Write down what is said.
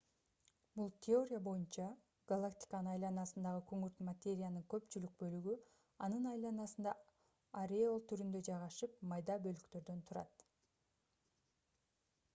бул теория боюнча галактиканын айланасындагы күңүрт материянын көпчүлүк бөлүгү анын айланасында ореол түрүндө жайгашып майда бөлүктөрдөн турат